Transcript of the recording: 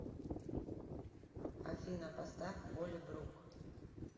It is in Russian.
афина поставь холи брук